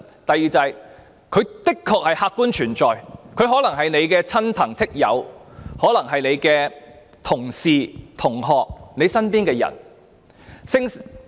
第二，他們的確客觀存在，可能是大家的親戚、朋友、同事、同學或身邊的人。